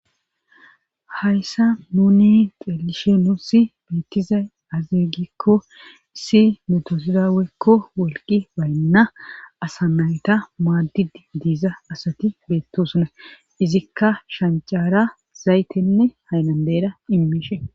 Hayssa nuni xelishen nussi beettize aze gikko issi metosidawekko wolqi baynna asa nayta maaddid diiza asati beettosuna izikka shancaara zaytenne haynandeera immiishe